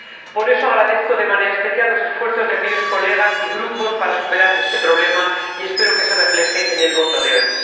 Por eso, agradezco de manera especial los esfuerzos de diputados y grupos para superar este problema, y espero que se refleje en la votación de hoy.